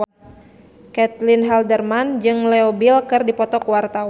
Caitlin Halderman jeung Leo Bill keur dipoto ku wartawan